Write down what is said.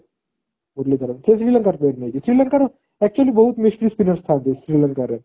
ମୂରଲୀ ଧରାନ ସେ ଶ୍ରୀଲଙ୍କା ଶ୍ରୀଲଙ୍କା ର actually ଥାନ୍ତି ଶ୍ରୀଲଙ୍କା ରେ